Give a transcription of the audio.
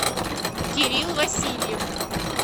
кирилл васильев